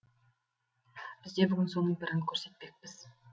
бізде бүгін соның бірін көрсетпекпіз